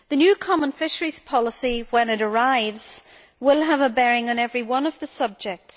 The new common fisheries policy when it arrives will have a bearing on every one of the subjects.